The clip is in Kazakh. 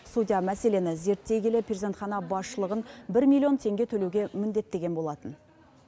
судья мәселені зерттей келе перзентхана басшылығын бір миллион теңге төлеуге міндеттеген болатын